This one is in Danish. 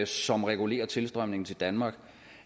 som regulerer tilstrømningen til danmark